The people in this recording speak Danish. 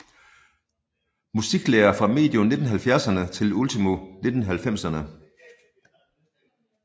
Musiklærer fra medio 1970erne til ultimo 1990erne